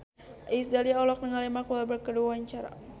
Iis Dahlia olohok ningali Mark Walberg keur diwawancara